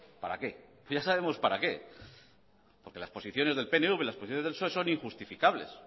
para qué ya sabemos para qué porque las posiciones del pnv y las posiciones del psoe son injustificables